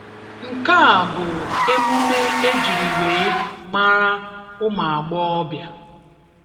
Nke a bụ emụme ejiri wee mara ụmụagbọghọbịa.